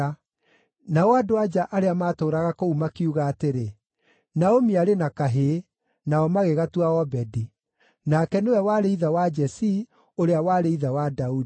Nao andũ-a-nja arĩa maatũũraga kũu makiuga atĩrĩ, “Naomi arĩ na kahĩĩ.” Nao magĩgatua Obedi. Nake nĩwe warĩ ithe wa Jesii, ũrĩa warĩ ithe wa Daudi.